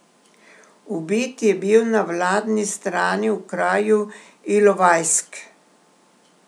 Ubit je bil na vladni strani v kraju Ilovajsk.